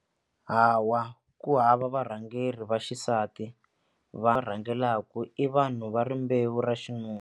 Hawa ku hava varhangeri va xisati rhangelaka i vanhu va rimbewu ra .